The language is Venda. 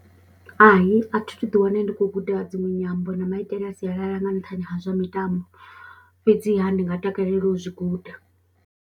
Hai, a thi thu ḓiwana ndi khou guda dziṅwe nyambo na maitele a sialala nga nṱhani ha zwa mitambo fhedziha ndi nga takalela u zwi guda.